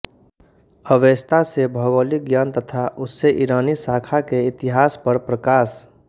Avesta से भौगोलिक ज्ञान तथा उससे ईरानी शाखा के इतिहास पर प्रकाश